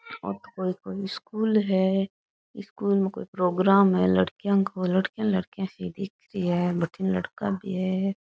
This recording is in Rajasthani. ओ तो कोई कोई स्कूल है स्कूल में कोई प्रोगाम है लड़किया को लड़किया लड़किया सी दिख री है भटीन लड़का भी है।